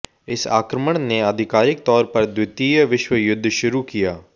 इस आक्रमण ने आधिकारिक तौर पर द्वितीय विश्व युद्ध शुरू किया